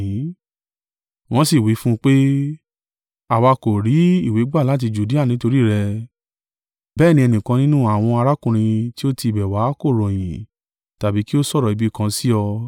Wọ́n sì wí fún un pé, “Àwa kò rí ìwé gbà láti Judea nítorí rẹ, bẹ́ẹ̀ ni ẹnìkan nínú àwọn arákùnrin tí ó ti ibẹ̀ wá kò ròyìn, tàbí kí ó sọ̀rọ̀ ibi kan sí ọ.